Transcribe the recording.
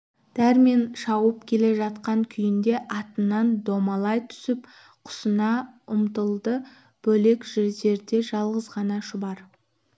дәрмен шауып келе жатқан күйінде атынан домалай түсіп құсына ұмтылды бөлек жерде жалғыз ғана шұбар